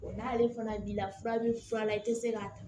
n'ale fana b'i la fura bɛ fura la i tɛ se k'a ta